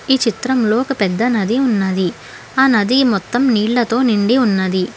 ఈ చిత్రంలో ఒక పెద్ద నది ఉన్నది ఆ నది మొత్తం నీళ్లతో నిండి ఉన్నది.